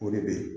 O de bɛ yen